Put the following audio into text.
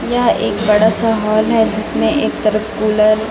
यह एक बड़ा सा हॉल है जिसमें एक तरफ कूलर--